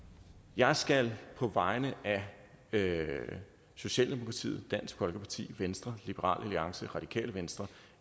jeg skal på vegne af socialdemokratiet dansk folkeparti venstre liberal alliance radikale venstre